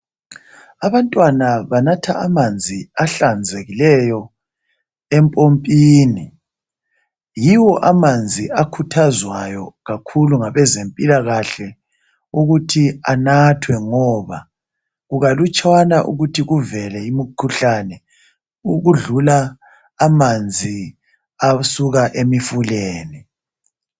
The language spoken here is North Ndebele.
Abantwana banatha amanzi ahlanzekileyo empompini yiwo amanzi akhuthazwayo kakhulu ngabezempila kahle ukuthi anathwe ngoba kukalutshwana ukuthi kuvele imikhuhlane ukudlula amanzi asuka emifuleni.